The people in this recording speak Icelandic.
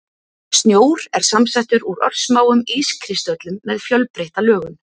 Snjór er samsettur úr örsmáum ískristöllum með fjölbreytta lögun.